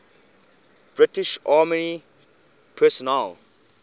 british army personnel